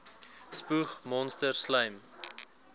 spoeg monsters slym